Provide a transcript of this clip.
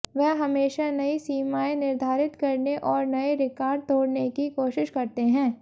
वह हमेशा नई सीमायें निर्धारित करने और नये रिकार्ड तोड़ने की कोशिश करते हैं